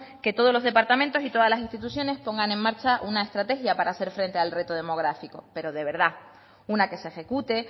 que todos los departamentos y todas las instituciones pongan en marcha una estrategia para hacer frente al reto demográfico pero de verdad una que se ejecute